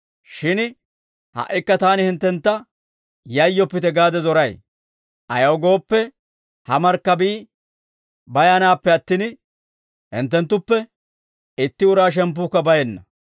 Shin ha"ikka taani hinttentta yayyoppite gaade zoray; ayaw gooppe, ha markkabii bayanaappe attin, hinttenttuppe itti uraa shemppuukka bayenna.